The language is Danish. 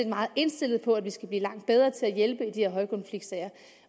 meget indstillet på at vi skal blive langt bedre til at hjælpe i de her højkonfliktsager